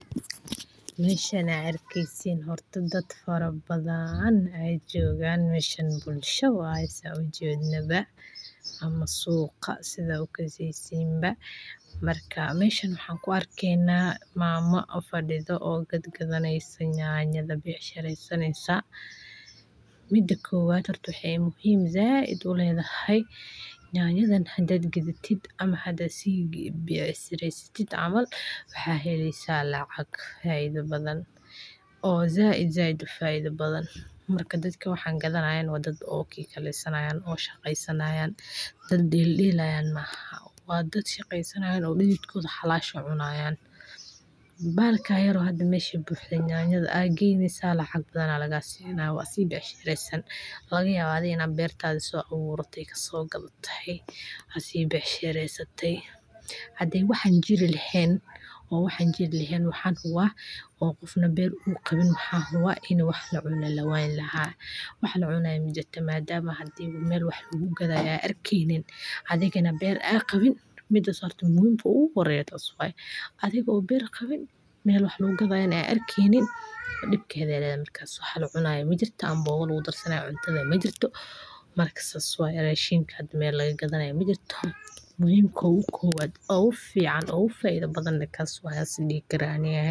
Meshan aad arkeeysid daad fara badan joogan bulsha waye saa ujeednaba ama suqa sida ukaaseysin ba marka meshan waxa kuaarkeyna Mama oo faiiso oo gadgadeyso yanyada becshareyneysa mida kowaada waxey muhim saaid ah uleedahay yanayaadan hada gadhaatid ama hada si gaadatid kabecshareysatid camal waxa heleysa lacag faaiida badan oo saaid saaid u fara badan marka dadka waxan gaadhanayan wa daad oo kikaleysanaya oo shaqeysanayan daad deldelayan maaxan wa daad shaqeysanayan oo didhid koda xalashanayan xalasha cunayan bahalka yaro mesha hada buhdo yanyanda aa geyneysa lacag badan aa laga siina waa si becshareysan laga yaaba adhi ina beertadha so abuurate so gaadate asi becshareysate hadey waxan jiiri laahen oo waxan jiti lahen waxa huwa oo qofna beer u qawin waxa huwa in wax lacuno lawayni laa wax lacunayo majirto madama mel wax lagu gaadayo aad arkeynin adhigaana beer aad qawin midaas horta muhimada ugu horeyo taas waye adhigo beer qawin mel wax lagu gaadayo aad arkeynin dibkedhe ledahay markas wax lacunayo majirto abooga lagu darsanayo cunta majirto marka saas waye marka rashiika mel laga gaadayo majirto muhimka ugu kowaad ugu ficaan ugu faaiida badan kas waye isdiihi kara ani.